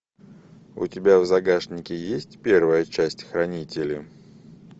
у тебя в загашнике есть первая часть хранители